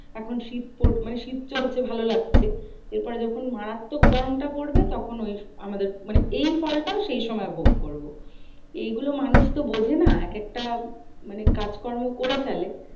এখন শীত মানে শীত চলছে ভালো লাগছে। এরপরে যখন মারাত্মক গরমটা পড়বে তখন আমাদের এই ফলটা সেই সময় ভোগ করবো। এই গুলো মানুষ তো বোঝে না একেকটা মানে কাজকর্ম করে ফেলে।